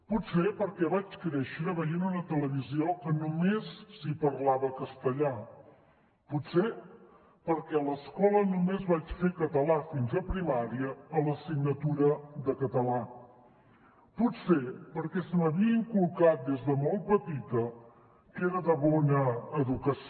potser perquè vaig créixer veient una televisió en què només s’hi parlava castellà potser perquè a l’escola només vaig fer català fins a primària a l’assignatura de català potser perquè se m’havia inculcat des de molt petita que era de bona educació